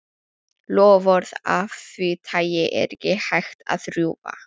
Loforð af því tagi er ekki hægt að rjúfa.